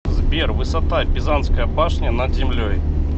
сбер высота пизанская башня над землей